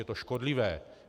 Je to škodlivé.